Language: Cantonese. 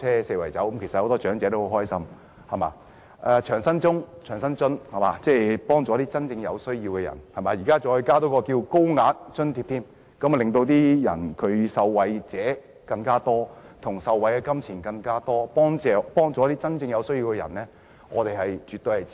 此外，長者生活津貼能幫助真正有需要的人，現在再多加一項高額援助，令受惠者人數更多，他們受惠的金錢更多，能幫助一些真正有需要的人，我們絕對支持。